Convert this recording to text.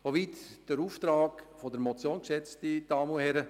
So weit der Auftrag der Motion, geschätzte Damen und Herren.